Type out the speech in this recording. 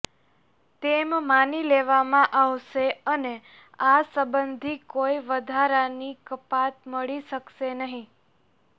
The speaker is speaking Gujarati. તેમ માની લેવામાં આવશે અને આ સંબંધી કોઈ વધારાની કપાત મળી શકશે નહીં